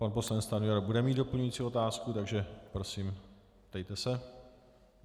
Pan poslanec Stanjura bude mít doplňující otázku, takže prosím, ptejte se.